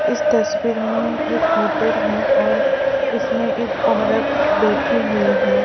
इस तस्वीर में एक होटल है और इसमें एक औरत बैठी हुई है।